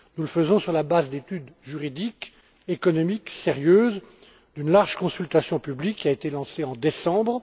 Nous le faisons sur la base d'études juridiques et économiques sérieuses, et d'une large consultation publique qui a été lancée en décembre.